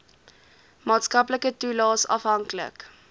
maatskaplike toelaes afhanklik